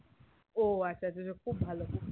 ও আচ্ছা আচ্ছা খুব ভালো